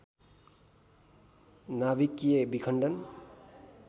नाभिकीय विखण्डन